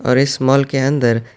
اور اس مال کے اندر--